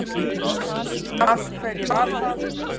Af hverju var það?